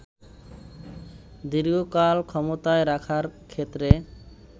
দীর্ঘকাল ক্ষমতায় রাখার ক্ষেত্রে